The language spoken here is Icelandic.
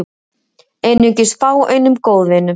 Einungis fáeinum góðvinum